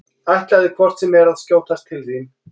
Ætlaði hvort sem er að skjótast til þín.